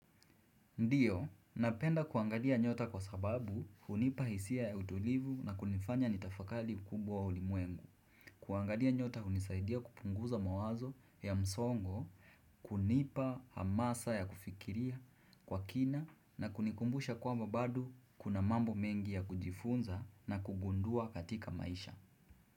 Ndiyo, napenda kuangadia nyota kwa sababu hunipa hisia ya utulivu na kunifanya nitafakali ukubwa wa ulimwengu. Kuangalia nyota hunisaidia kupunguza mawazo ya msongo, kunipa hamasa ya kufikiria kwa kina na kunikumbusha kwamba bado kuna mambo mengi ya kujifunza na kugundua katika maisha.